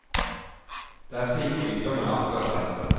Det er slik sykdommen arter seg.